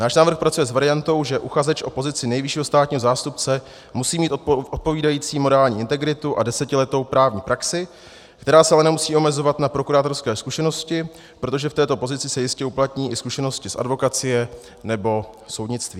Náš návrh pracuje s variantou, že uchazeč o pozici nejvyššího státního zástupce musí mít odpovídající morální integritu a desetiletou právní praxi, která se ale nemusí omezovat na prokurátorské zkušenosti, protože v této pozici se jistě uplatní i zkušenosti z advokacie nebo soudnictví.